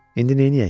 İndi neyniyək?